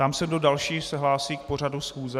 Ptám se, kdo další se hlásí k pořadu schůze.